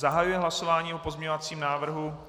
Zahajuji hlasování o pozměňovacím návrhu.